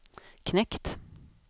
knekt